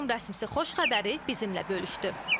Qurum rəsmisi xoş xəbəri bizimlə bölüşdü.